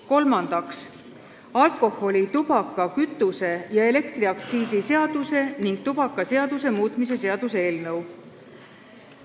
Kolmandaks, alkoholi-, tubaka-, kütuse- ja elektriaktsiisi seaduse ning tubakaseaduse muutmise seaduse eelnõu.